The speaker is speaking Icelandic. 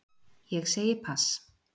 Ég segi pass.